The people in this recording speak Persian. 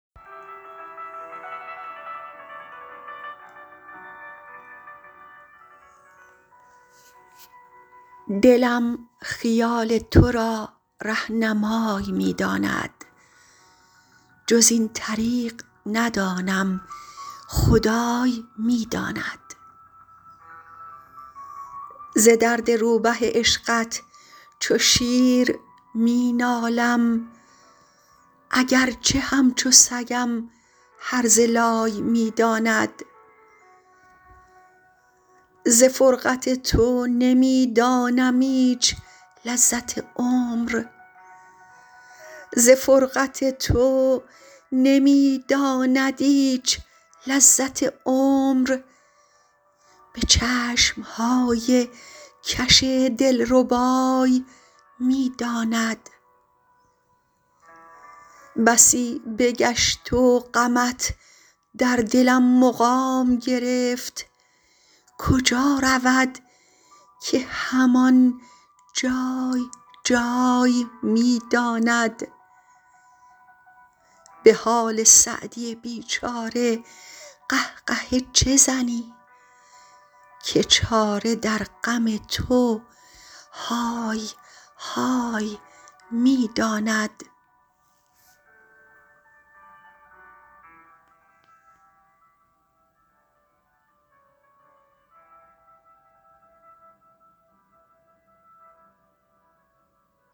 دلم خیال تو را رهنمای می داند جز این طریق ندانم خدای می داند ز درد روبه عشقت چو شیر می نالم اگر چه همچو سگم هرزه لای می داند ز فرقت تو نمی دانم ایچ لذت عمر به چشم های کش دل ربای می داند بسی بگشت و غمت در دلم مقام گرفت کجا رود که هم آن جای جای می داند به حال سعدی بی چاره قه قهه چه زنی که چاره در غم تو های های می داند